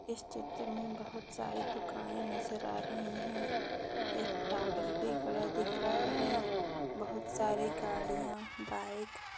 इस चित्र मे बहुत सारी दुकाने नजर आ रही है एक टावर भी खड़ा दिख रहा है बहुत सारी गाड़िया बाइक --